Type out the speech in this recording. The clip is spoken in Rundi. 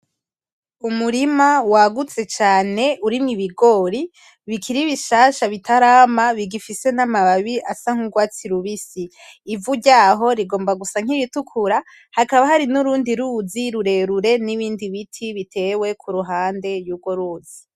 Umurima wagutse cane urimwo ibigori bikiri bishasha bitarama bigifise n'amababi asa nk'urwatsi rubisi, ivu ryaho rigomba gusa nk'iritukura, hakaba hari n'urundi ruzi rurerure, n'ibindi biti bitewe kuruhande y'urwo ruzi.